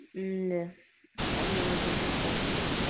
имя вспомнил один прикол